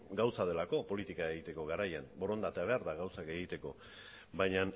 gauza delako politika egiteko garaian borondatea behar da gauzak egiteko baina